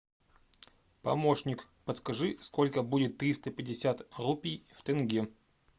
помощник подскажи сколько будет триста пятьдесят рупий в тенге